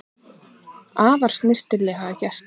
Afar snyrtilega gert